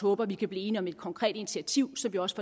håber at vi kan blive enige om et konkret initiativ så vi også